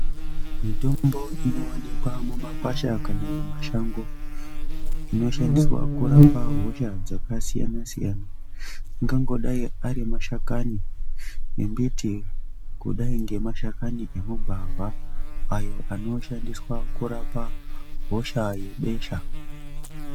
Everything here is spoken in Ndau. Mitombo inowanikwa mumakwasha kana mumashango inoshandiswa kurapa hosha dzakasiyana siyana ingangodai ari mashakani embiti kudai ngemashakani emagwavha ayo anoshandiswa kurapa hosha yebesha.